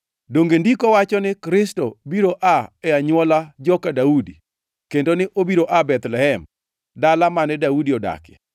Donge Ndiko wacho ni Kristo biro aa e anywola joka Daudi, kendo ni obiro aa Bethlehem, dala mane Daudi odakie?”